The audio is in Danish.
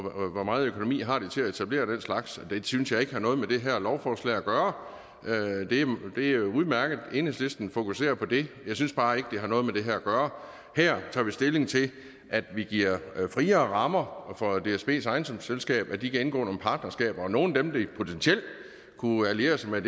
hvor meget økonomi de har til at etablere den slags det synes jeg ikke har noget med det her lovforslag at gøre det er jo udmærket at enhedslisten fokuserer på det jeg synes bare ikke at det har noget med det her at gøre her tager vi stilling til at vi giver friere rammer for dsbs ejendomsselskab til at de kan indgå nogle partnerskaber og nogle af dem de potentielt kunne alliere sig med